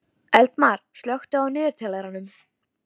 Eldmar, slökktu á niðurteljaranum.